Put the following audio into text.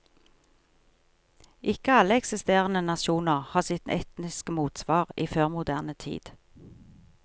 Ikke alle eksisterende nasjoner har sitt etniske motsvar i førmoderne tid.